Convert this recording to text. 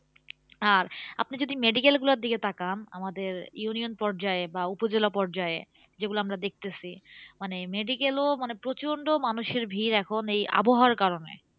আর আপনি যদি medical গুলোর দিকে তাকান, আমাদের union পর্যায়ে বা উপজেলা পর্যায়ে যেগুলো আমরা দেখতেছি। মানে medical এও মানে প্রচন্ড মানুষের ভিড় এখন এই আবহাওয়ার কারণে।